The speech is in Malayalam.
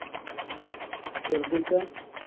വെറുതെ ഇരിക്കുവാ?